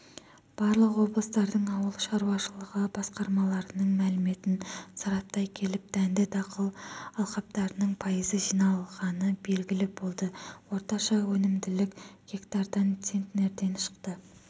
барлық облыстардың ауыл шаруашылығы басқармаларының мәліметін сараптай келіп дәнді дақыл алқаптарының пайызы жиналғаны белгілі болды орташа өнімділік гектардан центнерден шықты